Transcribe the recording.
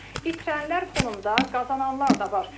Amma itirənlər fonunda qazananlar da var.